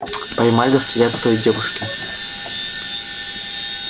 поймали след той девушки